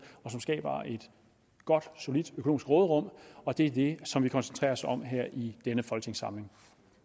og som skaber et godt og solidt økonomisk råderum og det er det som vi koncentrerer os om her i denne folketingssamling